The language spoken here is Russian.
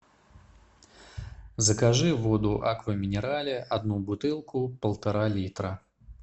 закажи воду аква минерале одну бутылку полтора литра